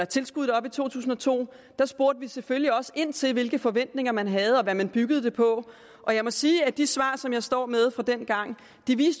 tilskuddet op i to tusind og to spurgte vi selvfølgelig også ind til hvilke forventninger man havde og hvad man byggede det på og jeg må sige at de svar som jeg står med fra dengang